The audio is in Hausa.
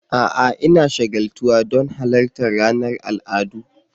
A'a! Ina shagaltuwa don halartar ranar al'adu.